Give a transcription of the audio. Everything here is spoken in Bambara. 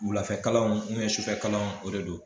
Wulafɛkalanw ni sufɛkalanw o de don